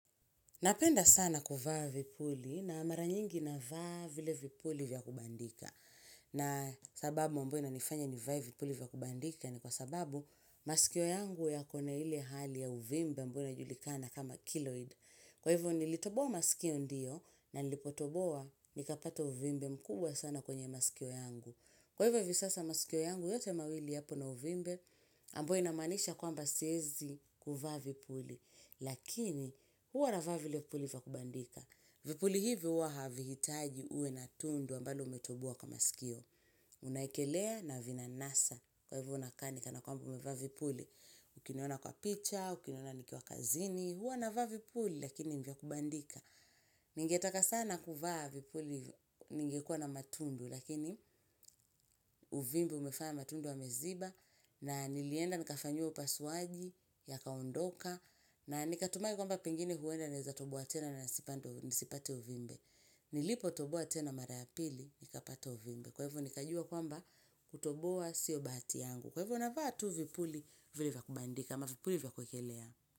Napenda sana kuvaa vipuli na maranyingi na vaa vile vipuli vya kubandika. Na sababu ambayo ina nifanya ni vae vipuli vya kubandika ni kwa sababu masikio yangu ya kona hile hali ya uvimbe ambayo ina julikana kama kiloid. Kwa hivyo nilitoboa masikio ndiyo na nilipotoboa nikapata uvimbe mkubwa sana kwenye masikio yangu. Kwa hivyo hivi sasa masikio yangu yote mawili yapo na uvimbe ambyo ina maanisha kwamba siezi ku vaa vipuli. Lakini huwa na vaa vile vipuli vya kubandika Vipuli hivi huwa havihitaji uwe na tundu ambalo umetobowa kwa sikio Unaekelea na vina nasa Kwa hivyo unakaa ni kana kwamba ume vaa vipuli Ukiniona kwa picha, ukiniona nikiwa kazini Huwa navaa vipuli lakini ni vya kubandika Ningetaka sana kuvaa vipuli ningekua na matundu Lakini uvimbe umefanya matundu yameziba na nilienda nikafanyiwa upasuaji ya kaundoka na nikatumai kwamba pengine huwenda naeza tobowa tena na nisipate uvimbe Nilipo tobowa tena mara ya pili nikapata uvimbe Kwa hivo nikajua kwamba kutobowa sio bahati yangu Kwa hivo navaa tu vipuli vile vya kubandika ama vipuli vya kuekelea.